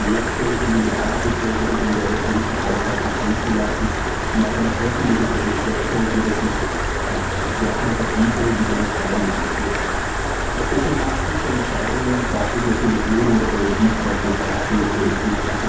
So könnten wir mehrstellige Milliardenbeträge wieder in europäische Haushalte fließen lassen, und auch eine öffentliche Geldschöpfung wäre kompatibel mit einer freien Marktwirtschaft. Doch für so massive Entscheidungen braucht es Mut in der Politik, braucht es Kraft in der Politik.